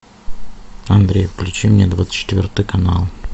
андрей включи мне двадцать четвертый канал